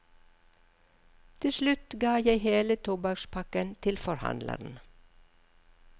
Til slutt ga jeg hele tobakkspakken til forhandleren.